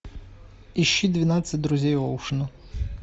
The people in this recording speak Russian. ищи двенадцать друзей оушена